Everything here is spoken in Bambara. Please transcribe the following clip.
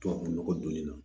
Tubabu nɔgɔ donni na